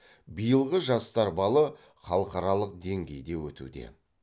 биылғы жастар балы халықаралық деңгейде өтуде